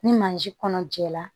Ni mansin kɔnɔ jɛra